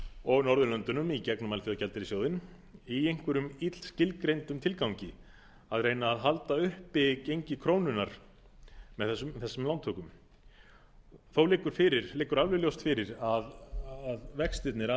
og norðurlöndunum í gegnum alþjóðagjaldeyrissjóðinn í einhverjum illskilgreindum tilgangi að reyna að halda uppi gengi krónunnar með þessum lántökum þó liggur alveg ljóst fyrir að vextirnir af þessu